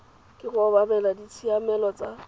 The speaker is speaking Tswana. ke go obamela ditshiamelo tsa